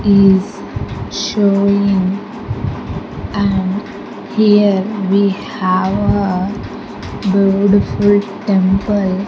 Is showing and here we have a beautiful temple.